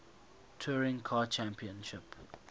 touring car championship